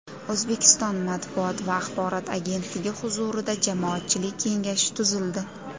O‘zbekiston Matbuot va axborot agentligi huzurida jamoatchilik kengashi tuzildi.